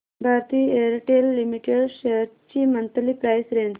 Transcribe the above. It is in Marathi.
भारती एअरटेल लिमिटेड शेअर्स ची मंथली प्राइस रेंज